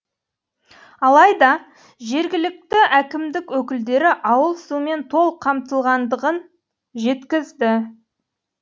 алайда жергілікті әкімдік өкілдері ауыл сумен толық қамтылғандығын жеткізді